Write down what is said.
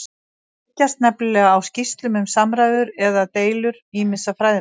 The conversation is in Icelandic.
Þeir byggjast nefnilega á skýrslum um samræður eða deilur ýmissa fræðimanna.